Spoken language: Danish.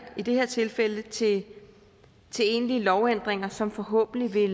i det her tilfælde til egentlige lovændringer som forhåbentlig